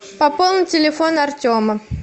пополнить телефон артема